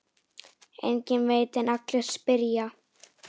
Enginn veit en allir spyrja.